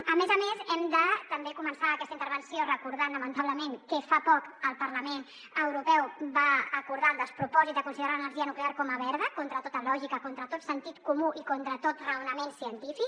a més a més hem de també començar aquesta intervenció recordant lamentablement que fa poc el parlament europeu va acordar el despropòsit de considerar l’energia nuclear com a verda contra tota lògica contra tot sentit comú i contra tot raonament científic